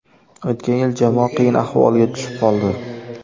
O‘tgan yil jamoa qiyin ahvolga tushib qoldi.